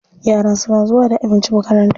Yaran suna zuwa da abinci makaranta.